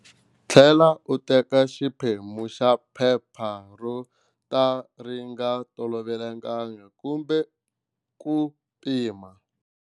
Tlhela u teka xiphemu xa phepha ro ka ri nga tolovelekangi kumbe ku pima.